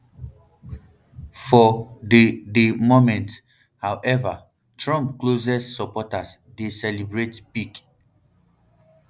for di di moment however trump closest supporters dey celebrat pick